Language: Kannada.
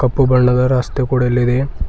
ಪ್ಪು ಬಣ್ಣದ ರಸ್ತೆ ಕೂಡ ಇಲ್ಲಿದೆ.